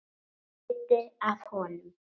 Hluti af honum.